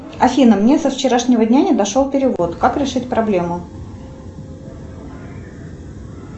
афина мне со вчерашнего дня не дошел перевод как решить проблему